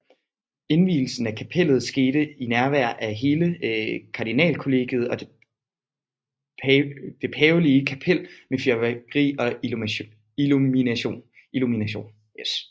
Indvielsen af kapellet skete i nærvær af hele kardinalkollegiet og det pavelige kapel med fyrværkeri og illumination